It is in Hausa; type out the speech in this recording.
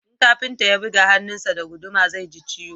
in kafinta ya buga hannun sa da guduma zai ji ciwo